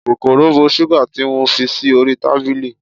kòkòrò bo sugar ti mo fi sí orí tábìlì